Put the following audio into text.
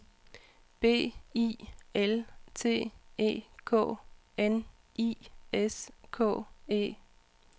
B I L T E K N I S K E